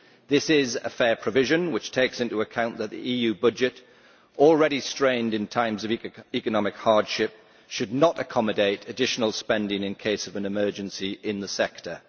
This is a fair provision which takes into account that the EU budget, already strained in times of economic hardship, should not accommodate additional spending in case of an emergency in the sector.